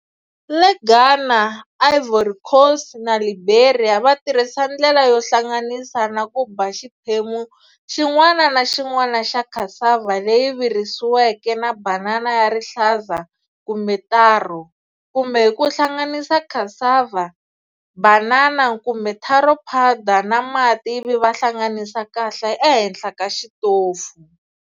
Le Ghana, Ivory Coast na Liberia, va tirhisa ndlela yo hlanganisa na ku ba xiphemu xin'wana na xin'wana xa cassava leyi virisiweke na banana ya rihlaza kumbe taro, kumbe hi ku hlanganisa cassava-banana kumbe taro powder na mati ivi va hlanganisa kahle ehenhla ka xitofu.